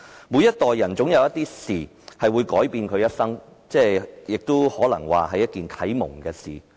每一代人總有一些事情會改變其一生，亦可能有啟蒙他們的事。